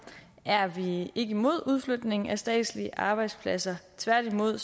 er vi ikke imod udflytning af statslige arbejdspladser tværtimod